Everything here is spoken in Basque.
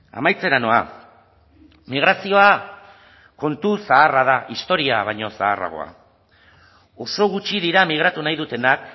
amaitzera noa migrazioa kontu zaharra da historia baino zaharragoa oso gutxi dira migratu nahi dutenak